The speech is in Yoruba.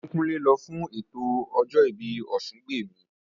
Ògúnkúnlé lọ fún ètò ọjọ́ ìbí Ọ̀sungbèmí